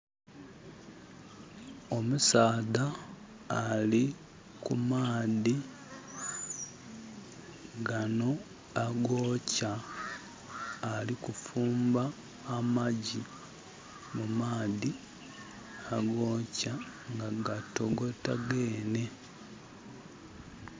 Omusaadha ali kumaadhi gano agokya. Alikufumba amagi mu maadhi agokya nga gatogota gene